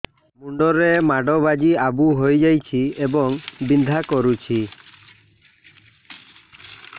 ମୁଣ୍ଡ ରେ ମାଡ ବାଜି ଆବୁ ହଇଯାଇଛି ଏବଂ ବିନ୍ଧା କରୁଛି